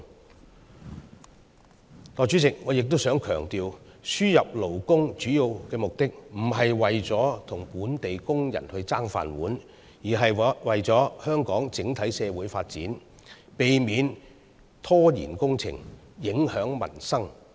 代理主席，我亦想強調，輸入勞工的主要目的不是為了與本地工人"爭飯碗"，而是為了香港整體社會發展，避免拖延工程，影響民生。